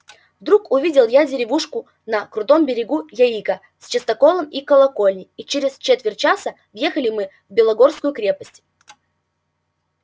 вдруг увидел я деревушку на крутом берегу яика с частоколом и с колокольней и через четверть часа въехали мы в белогорскую крепость